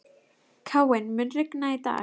Káinn, mun rigna í dag?